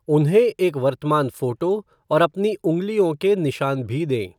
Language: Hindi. उन्हें एक वर्तमान फ़ोटो और अपनी उंगलियों के निशान भी दें।